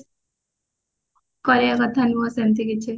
କହିବ କଥା ନୁହଁ ସେମତି କିଛି